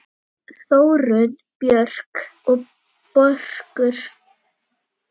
Þórunn Björk og Börkur.